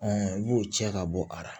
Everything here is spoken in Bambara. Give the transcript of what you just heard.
i y'o cɛ ka bɔ a la